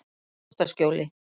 Frostaskjóli